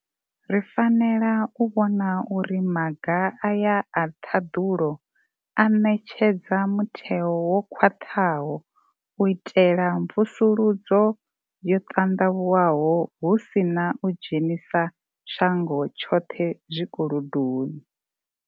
Ri fanela u vhona uri maga aya a ṱhaḓulo a ṋetshedza mutheo wo khwaṱhaho u itela mvusuludzo yo ṱanḓavhuwaho hu si na u dzhenisa shango tshoṱhe zwi kolodoni.